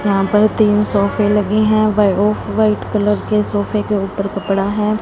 यहां पर तीन सोफे लगे हैं भाई ऑफ व्हाइट कलर के सोफे के ऊपर कपड़ा है।